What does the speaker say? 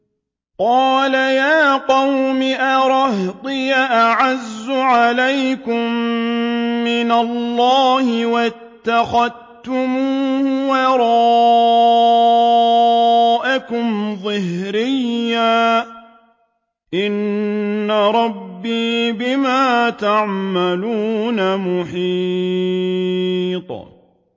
قَالَ يَا قَوْمِ أَرَهْطِي أَعَزُّ عَلَيْكُم مِّنَ اللَّهِ وَاتَّخَذْتُمُوهُ وَرَاءَكُمْ ظِهْرِيًّا ۖ إِنَّ رَبِّي بِمَا تَعْمَلُونَ مُحِيطٌ